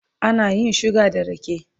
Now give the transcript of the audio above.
ana yin suga da rake